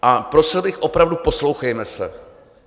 A prosil bych opravdu, poslouchejme se.